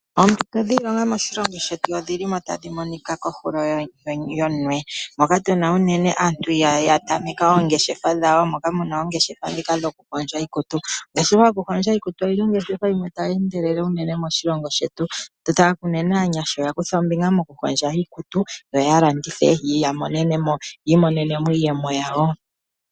Oompito dhiilonga moshilongo shetu odhi li mo tadhi monika kondungu yoonyala, moka tu na unene aantu ya tameka oongeshefa dhawo, moka mu na oongeshefa ndhika dhoku hondja iikutu . Ongeshefa yo ku hondja iikutu oyi li oyo ongeshefa yimwe ta yi endelele unene moshilongo shetu. Unene aanyasha oya kutha ombinga mokuhondja iikutu, yo ya landithe yi imonene iiyemo yawo.